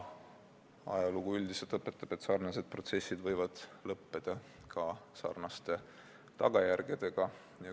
Ajalugu üldiselt õpetab, et sarnased protsessid võivad lõppeda ka sarnaste tagajärgedega.